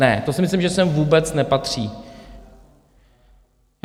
Ne, to si myslím, že sem vůbec nepatří.